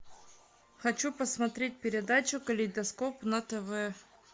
хочу посмотреть передачу калейдоскоп на тв